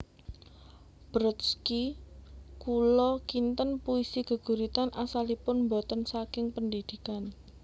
Brodsky Kula kinten puisi geguritan asalipun boten saking pendidikan